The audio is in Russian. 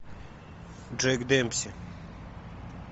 джек демпси